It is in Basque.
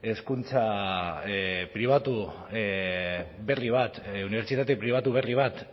hezkuntza pribatu berri bat unibertsitate pribatu berri bat